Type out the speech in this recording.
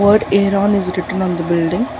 word air on is written on the building.